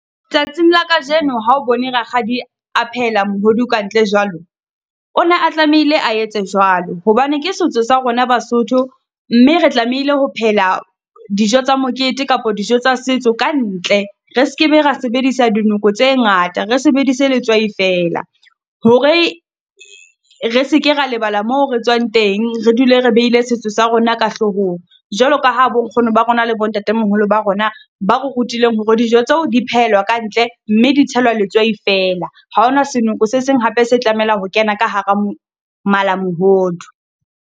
Tsatsing la kajeno ha o bone rakgadi a phehela mohodu ka ntle jwalo, Ona a tlamehile a etse jwalo hobane ke setso sa rona Basotho, mme re tlamehile ho phehela dijo tsa mokete kapa dijo tsa setso ka ntle. Re skebe ra sebedisa dinoko tse ngata, re sebedise letswai fela. Hore re seke ra lebala moo re tswang teng, re dule re behile setso sa rona ka hlohong, jwalo ka ha bo nkgono ba rona le bo ntatemoholo ba rona ba re rutileng hore dijo tseo di phehelwa ka ntle, mme ditshelwa letswai fela. Ha hona senoko se seng hape se tlamela ho kena ka hara malamohodu.